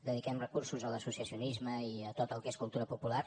dediquem recursos a l’associacionisme i a tot el que és cultura popular